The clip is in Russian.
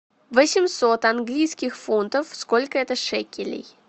восемьсот английских фунтов сколько это шекелей